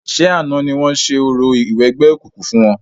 Ṣé àná ni wọ́n ṣe orò ìwẹgbẹ́ okùnkùn fún wọn?